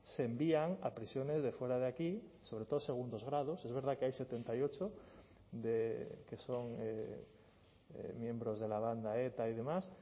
se envían a prisiones de fuera de aquí sobre todo segundos grados es verdad que hay setenta y ocho que son miembros de la banda eta y demás